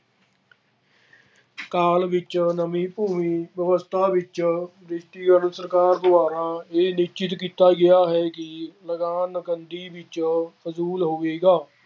ਕਾਲ ਵਿੱਚ ਨਵੀਂ ਅਵਸਥਾ ਵਿੱਚ ਸਰਕਾਰ ਦੁਆਰਾ ਇਹ ਨਿਸ਼ਚਿਤ ਕੀਤਾ ਗਿਆ ਹੈ ਕਿ ਲਗਾਨ ਨਕਦੀ ਵਿੱਚ ਵਸੂਲ ਹੋਵੇਗਾ।